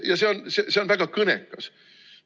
Ja see on väga kõnekas.